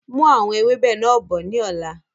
Mú àwọn ewébẹ̀ náà bọ̀ ni ọ̀la!